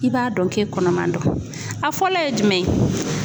I b'a dɔn k'e kɔnɔman don . A fɔlɔ ye jumɛn ye.